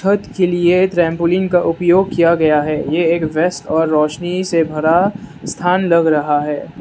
पद के लिए ट्रांपोलिन का उपयोग किया गया है ये एक व्यस्त और रोशनी से भरा स्थान लग रहा है।